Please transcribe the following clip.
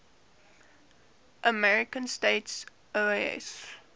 american states oas